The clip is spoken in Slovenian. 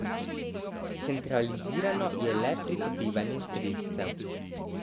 Centralizirano je le pridobivanje sredstev.